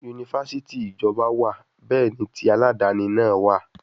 yunifásítì ìjọba wà, bẹ́ẹ̀ ni tí alàdàni náà wà.